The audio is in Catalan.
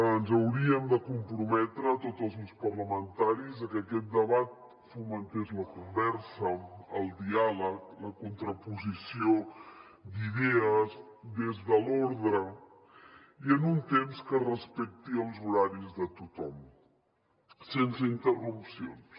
ens hauríem de comprometre tots els grups parlamentaris a que aquest debat fomentés la conversa el diàleg la contraposició d’idees des de l’ordre i en un temps que respecti els horaris de tothom sense interrupcions